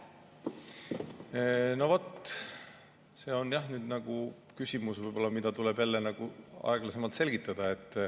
No vot, see on nüüd küsimus, mida tuleb jälle aeglasemalt selgitada.